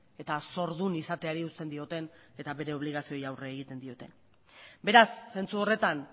eta zordun izateari uzten dioten eta bere obligazioei aurre egiten dieten beraz zentzu horretan